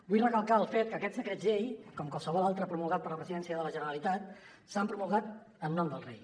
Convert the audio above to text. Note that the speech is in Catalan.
vull recalcar el fet que aquests decrets llei com qualsevol altre promulgat per la presidència de la generalitat s’han promulgat en nom del rei